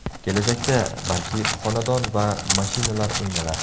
Kelajakda, balki, xonadon va mashinalar o‘ynalar.